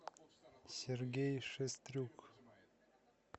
сергей шестрюк